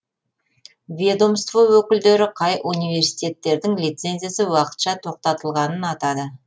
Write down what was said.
ведомство өкілдері қай университеттердің лицензиясы уақытша тоқтатылғанын атады